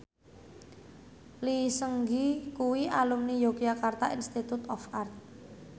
Lee Seung Gi kuwi alumni Yogyakarta Institute of Art